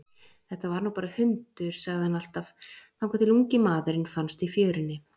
Þetta var nú bara hundur, sagði hann alltaf þangað til ungi maðurinn fannst í fjörunni.